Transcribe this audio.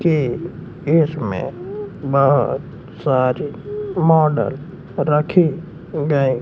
के इसमें बोहोत सारे मॉडल रखे गएं--